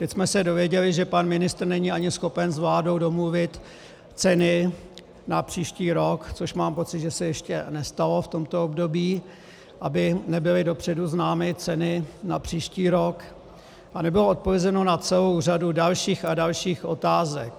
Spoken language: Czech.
Teď jsme se dozvěděli, že pan ministr není ani schopen s vládou domluvit ceny na příští rok, což mám pocit, že se ještě nestalo v tomto období, aby nebyly dopředu známy ceny na příští rok, a nebylo odpovězeno na celou řadu dalších a dalších otázek.